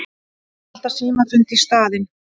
Þeir halda símafund í staðinn.